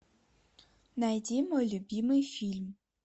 найди мой любимый фильм